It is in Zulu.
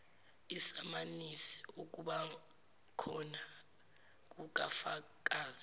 isamanisi lokubakhona kukafakazi